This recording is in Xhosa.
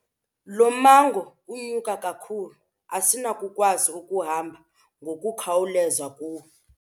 Lo mmango unyuka kakhulu asinakukwazi ukuhamba ngokukhawuleza kuwo.